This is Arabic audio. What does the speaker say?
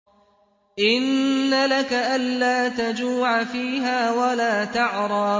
إِنَّ لَكَ أَلَّا تَجُوعَ فِيهَا وَلَا تَعْرَىٰ